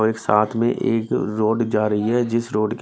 और एक साथ में एक रोड जा रही है जिस रोड के--